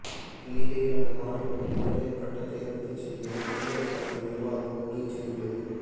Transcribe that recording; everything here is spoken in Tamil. இந்நிலையில் அந்த மாணவரின் இளங்கலை பட்டத்தை ரத்து செய்ய பல்கலைக்கழக நிர்வாகம் முடிவு செய்துள்ளது